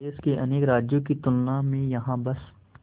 देश के अनेक राज्यों की तुलना में यहाँ बस